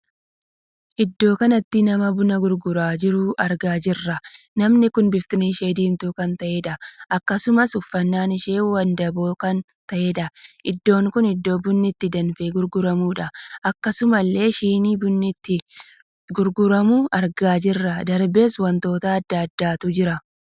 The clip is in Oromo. Iddoo kanatti nama buna gurguraa jiru argaa jirra. namni kun bifti ishee diimtuu kan taateedha. akkasumas uffannaan ishee wandaboo kana taheedha. iddoo kun iddoo bunni itti danfee gurguramuudha. akkasumallee shinii bunni itti gurguramu argaa jirra. darbees wantoota addaa addaatu jira.